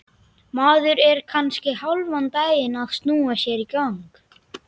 Maður er kannski hálfan daginn að snúa sér í gang.